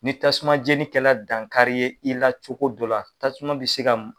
Ni tasuma jenikɛla dankari ye i la cogo dɔ la tasuma bɛ se ka.